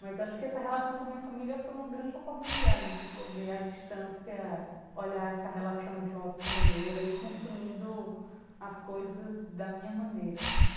Mas eu acho que essa relação com a minha família foi uma grande oportunidade de poder à distância olhar essa relação de uma outra maneira e construindo as coisas da minha maneira, assim.